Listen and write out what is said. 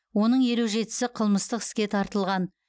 оның елу жетісі қылмыстық іске тартылған